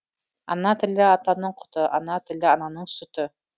ана тілі атаның құты ана тілі ананың сүті